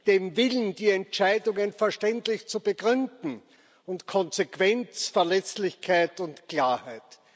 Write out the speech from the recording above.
dem Willen, die Entscheidungen verständlich zu begründen, und Konsequenz, Verlässlichkeit und Klarheit.